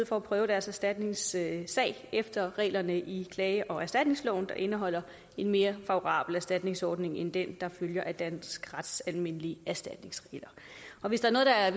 få prøvet deres erstatningssag efter reglerne i klage og erstatningsloven der indeholder en mere favorabel erstatningsordning end den der følger af dansk rets almindelige erstatningsregler og hvis der er